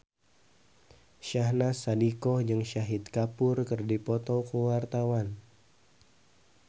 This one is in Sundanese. Syahnaz Sadiqah jeung Shahid Kapoor keur dipoto ku wartawan